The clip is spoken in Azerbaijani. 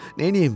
Neyləyim?